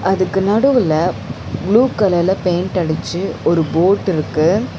அதுக்கு நடுவுல ப்ளூ கலர்ல பெயிண்ட் அடிச்சு ஒரு போட் இருக்கு.